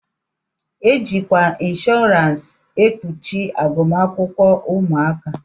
E jikwa inshọransi e kpuchi agụmakwụkwọ ụmụaka.